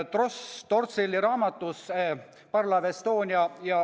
Stefan Torsselli raamatu "Parvlaev Estonia.